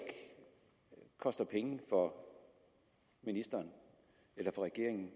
koster penge for ministeren eller for regeringen